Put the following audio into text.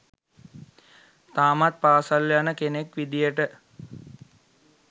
තාමත් පාසැල් යන කෙනෙක් විදියට